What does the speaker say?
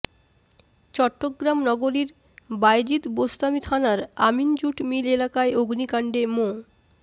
চট্টগ্রাম নগরীর বায়েজিদ বোস্তামি থানার Amin jute mill এলাকায় অগ্নিকাণ্ডে মো